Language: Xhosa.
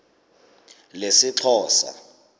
lesixhosa